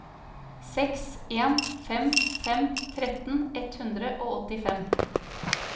seks en fem fem tretten ett hundre og åttifem